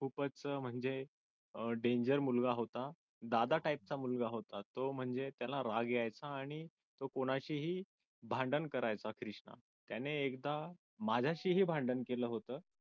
खूपच म्हणजे अह danger मुलगा होता दादा type चा मुलगा होता तो म्हणजे त्याला राग यायचा आणि तो कोणाचेही भांडण करायचा त्याने एकदा माझ्याशीही भांडण केलं होतं.